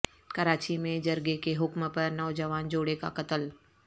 کراچی میں جرگے کے حکم پر نوجوان جوڑے کا قتل